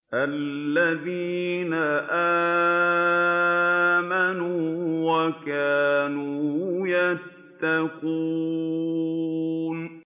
الَّذِينَ آمَنُوا وَكَانُوا يَتَّقُونَ